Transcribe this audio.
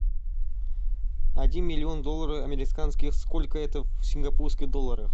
один миллион долларов американских сколько это в сингапурских долларах